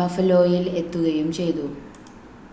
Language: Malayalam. ബഫലോയിൽ എത്തുകയും ചെയ്തു